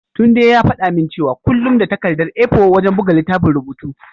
Tunde ya faɗa min cewa kullum da takardar A4 wajen buga littafin rubutu.